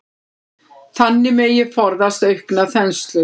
Þannig megi forðast aukna þenslu.